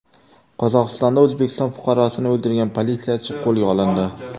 Qozog‘istonda O‘zbekiston fuqarosini o‘ldirgan politsiyachi qo‘lga olindi.